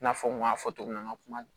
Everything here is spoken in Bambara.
I n'a fɔ n kun y'a fɔ togo min na n ka kuma